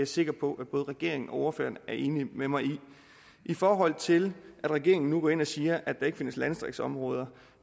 sikker på at både regeringen og ordføreren er enig med mig i i forhold til at regeringen nu går ind og siger at der hverken findes landdistriktsområder